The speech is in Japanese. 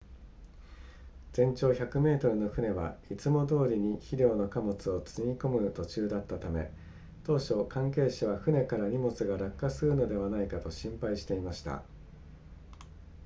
全長100メートルの船はいつもどおりに肥料の貨物を積み込む途中だったため当初関係者は船から荷物が落下するのではないかと心配していました